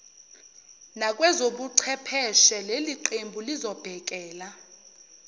nakwezobuchepheshe leliqembu lizobhekela